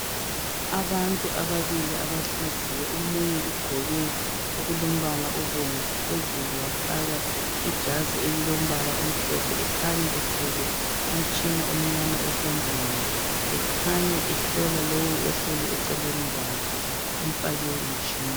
Abantu ababili abahleziyo omunye ugqoke okulombala obomvu phezulu wafaka ijazi elilombala omhlophe, ekhanya ethwele umtshina omnyama esandleni, ekhanya ehlola lowu eceleni kwakhe emfake umtshina.